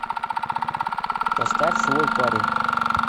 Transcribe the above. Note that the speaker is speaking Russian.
поставь свой парень